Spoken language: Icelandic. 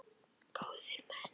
Góðir menn!